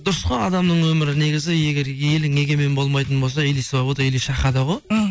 дұрыс қой адамның өмірі негізі егер елің егемен болмайтын болса или свобода или шахада ғой мхм